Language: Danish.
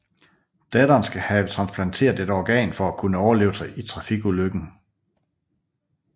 Datteren skal have transplanteret et organ for at kunne overleve trafikulykken